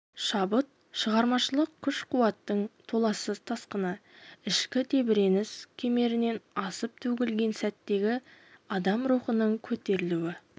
шабыт шығармашылық күш-қуаттың толассыз тасқыны ішкі тебіреніс кемерінен асып төгілген сәттегі адам рухының көтерілуі